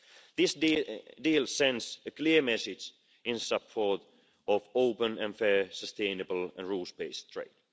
These deals send a clear message in support of open and fair, sustainable and rules based trade.